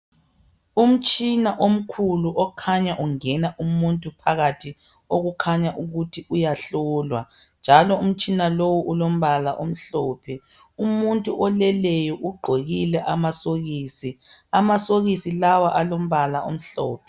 Umtshina omkhulu okhanya ungena umuntu phakathi okukhanya ukuthi uyahlolwa njalo umtshina lowu ulombala omhlophe. Umuntu oleleyo ugqokile amasokisi. Amasokisi lawa alombala omhlophe.